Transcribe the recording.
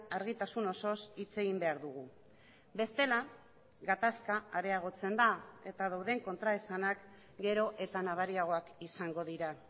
argitasun osoz hitz egin behar dugu bestela gatazka areagotzen da eta dauden kontraesanak gero eta nabariagoak izango dira